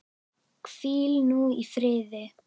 Hvíl nú í friði.